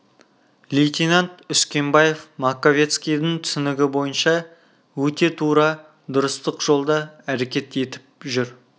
лейтенант үскенбаев маковецкийдің түсінігі бойынша өте тура дұрыстық жолда әрекет етіп жүр